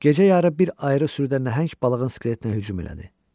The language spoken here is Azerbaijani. Gecə yarı bir ayrı sürüdə nəhəng balığın skeletinə hücum elədi.